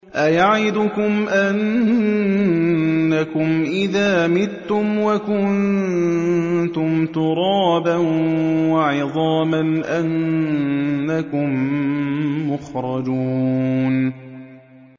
أَيَعِدُكُمْ أَنَّكُمْ إِذَا مِتُّمْ وَكُنتُمْ تُرَابًا وَعِظَامًا أَنَّكُم مُّخْرَجُونَ